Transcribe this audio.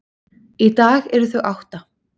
Í dag eru þau átta.